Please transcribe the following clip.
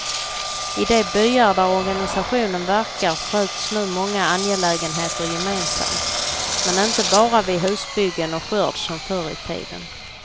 I de byar där organisationen verkar sköts nu många angelägenheter gemensamt, men inte bara vid husbyggen och skörd som förr i tiden.